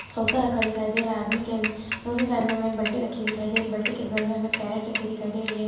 सोखता रखा दिखाई दे रहा है। आदमी के दूसरे साइड में एक बल्टी रखी दिखाई दे रही बल्टी के बगल में हमें कैरेट रखी दिखाई दे रही है।